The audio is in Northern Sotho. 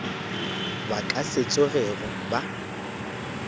ba ka se tsogego ba